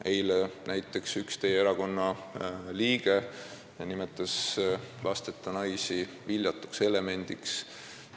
Eile näiteks nimetas üks teie erakonna liige lasteta naisi viljatuks elemendiks.